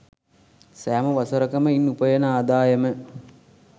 සෑම වසරකම ඉන් උපයන ආදායම